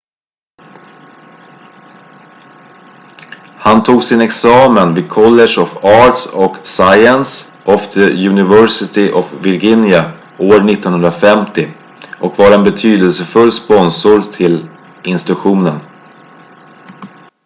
han tog sin examen vid college of arts & sciences of the university of virginia år 1950 och var en betydelsefull sponsor till institutionen